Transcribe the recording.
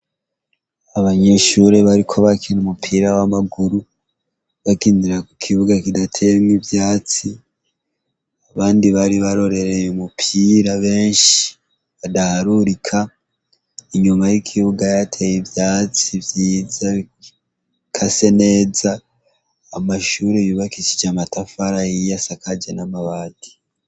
Abanyishure bariko bakina umupira w'amaguru bakindira ku kibuga kidatemwa ivyatsi abandi bari barorereye umupira benshi badaharurika inyuma y'ikibuga yateye ivyatsi vyiza bika se neza amae ishure bibakishije amatafara yiya asakaje namawadi.